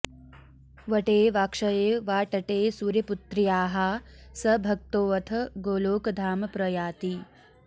वटे वाक्षये वा तटे सूर्यपुत्र्याः स भक्तोऽथ गोलोकधाम प्रयाति